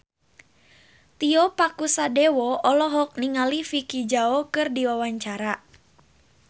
Tio Pakusadewo olohok ningali Vicki Zao keur diwawancara